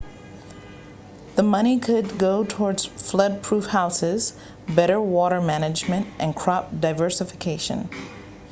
the money could go toward flood-proof houses better water management and crop diversification